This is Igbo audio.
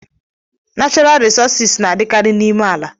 Nachọral risọsis na-adịkarị n'ime ala.